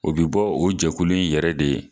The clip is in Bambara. O bɛ bɔ o jɛkulu i yɛrɛ de ye.